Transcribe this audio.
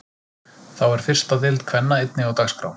Þá er fyrsta deild kvenna einnig á dagskrá.